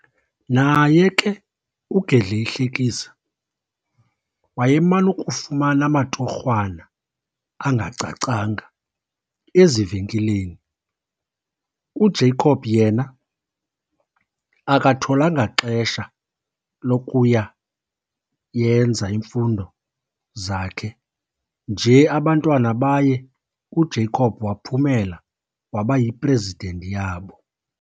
Naye ke uGedleyihlekisa wayeman'ukufumana amatorhwana angacacanga ezivenkileni. UJabob yena akatholanga xesha lokuya yenza emfundo zakhe nje abantwana baye uJacob waphumela waba yipresident yabo.